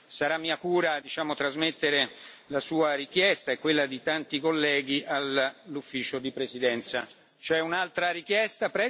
Sarà mia cura trasmettere la sua richiesta e quella di tanti colleghi all'Ufficio di presidenza. C'è un'altra richiesta.